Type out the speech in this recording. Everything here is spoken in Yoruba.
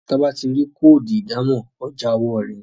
Toba tí rí Kóòdù ìdámọ̀ ọjà owó rẹ.